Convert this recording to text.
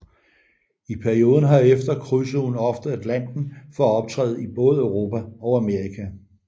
I perioden herefter krydsede hun ofte Atlanten for at optræde i både Europa og Amerika